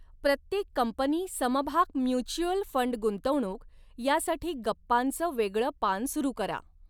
प्रत्येक कंपनी समभाग mutual fund गुंतवणूक यासाठी गप्पांचं वेगळं पान सुरू करा.